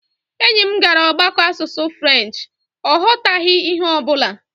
Enyi m gara ọgbakọ asụsụ french, ọ ghọtaghị ihe ọ bụla